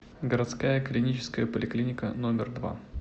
городская клиническая поликлиника номер два